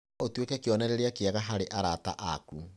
No ũtuĩke kĩonereria kĩega harĩ arata aku.